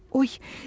Oy,